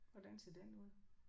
Hvordan ser den ud?